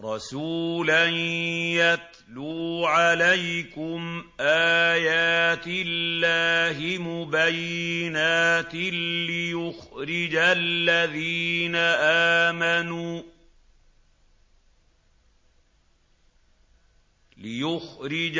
رَّسُولًا يَتْلُو عَلَيْكُمْ آيَاتِ اللَّهِ مُبَيِّنَاتٍ لِّيُخْرِجَ